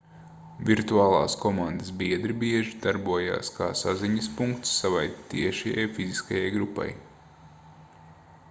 virtuālās komandas biedri bieži darbojas kā saziņas punkts savai tiešajai fiziskajai grupai